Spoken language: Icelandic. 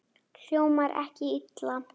Hljómar ekki illa.